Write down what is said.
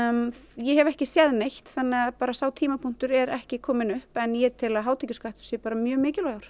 ég hef ekki séð neitt þannig að sá tímapunktur er ekki kominn upp en ég tel að hátekjuskattur sé bara mjög mikilvægur